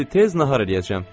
İndi tez nahar eləyəcəm.